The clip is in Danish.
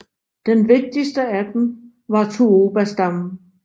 Den vigtigste af dem var tuobastammen